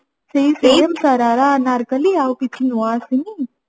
ସେଇ same ଶରାରା ଅନାରକଲ୍ଲୀ ଆଉ କିଛି ନୂଆ ଆସିନି